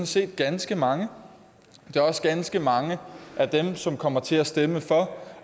set ganske mange det er også ganske mange af dem som kommer til at stemme for